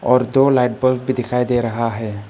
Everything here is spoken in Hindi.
और दो लाइट बल्ब भी दिखाई दे रहा है।